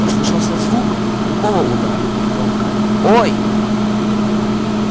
послышался звук тупого удара и громкое ой